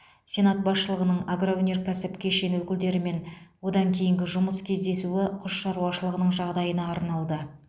сенат басшылығының агроөнеркәсіп кешені өкілдерімен одан кейінгі жұмыс кездесуі құс шаруашылығының жағдайына арналды